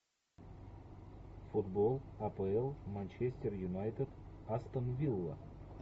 футбол апл манчестер юнайтед астон вилла